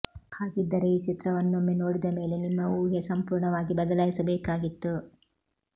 ಹಾಗಿದ್ದರೆ ಈ ಚಿತ್ರವನ್ನೊಮ್ಮೆ ನೋಡಿದ ಮೇಲೆ ನಿಮ್ಮ ಊಹೆ ಸಂಪೂರ್ಣವಾಗಿ ಬದಲಾಯಿಸಬೇಕಾಗಿತ್ತು